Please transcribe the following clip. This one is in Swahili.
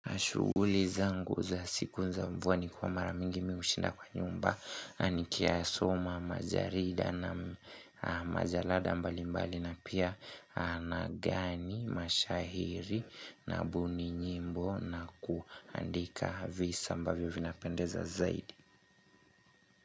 Shughuli zangu za siku nza mvua ni kuwa maramingi mi hushinda kwa nyumba ni ki ya soma majarida na majalada mbali mbali na pia na gani mashahiri na mbuni nyimbo na kuandika visa mbavyo vina pendeza zaidi.